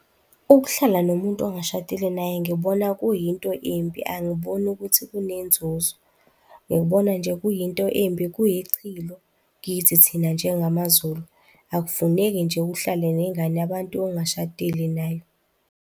Ukuhlala nomuntu ongashadile naye ngibona kuyinto embi, angiboni ukuthi kunenzuzo, ngibona nje kuyinto embi, kuyichilo kithi thina njengamaZulu, akufuneki nje uhlale nengane yabantu ongashadile nayo.